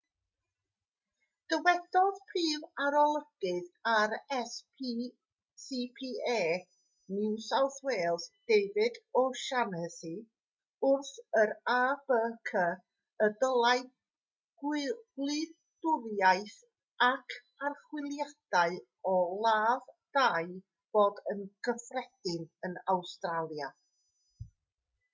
dywedodd prif arolygydd rscpa new south wales david o'shannessy wrth yr abc y dylai gwyliadwriaeth ac archwiliadau o ladd-dai fod yn gyffredin yn awstralia